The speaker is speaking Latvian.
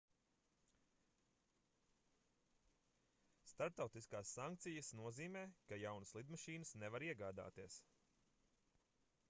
starptautiskās sankcijas nozīmē ka jaunas lidmašīnas nevar iegādāties